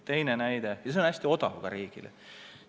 Ja see on hästi odav riigile.